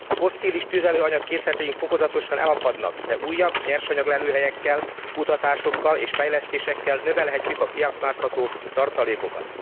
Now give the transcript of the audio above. Fosszilis tüzelőanyag készleteink fokozatosan elapadnak, de újabb nyersanyaglelőhelyekkel, kutatásokkal és fejlesztésekkel növelhetjük a kiaknázható tartalékokat.